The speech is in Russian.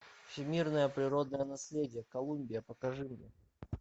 всемирное природное наследие колумбия покажи мне